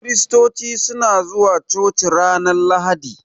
Kiristoci suna zuwa coci ranar Lahadi.